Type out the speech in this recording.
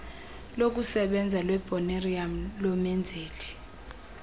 lokusebenza lwecbnrm lomenzeli